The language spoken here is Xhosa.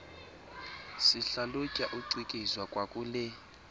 sihlalutya ucikizwa kwakule